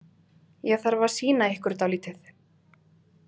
Ég þarf að sýna ykkur dálítið